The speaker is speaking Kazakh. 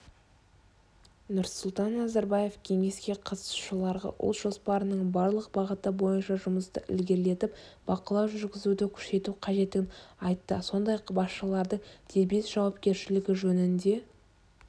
нұрсұлтан назарбаев кеңеске қатысушыларға ұлт жоспарының барлық бағыты бойынша жұмысты ілгерілетіп бақылау жүргізуді күшейту қажеттігін айтты сондай-ақ басшылардың дербес жауапкершілігі жөнінде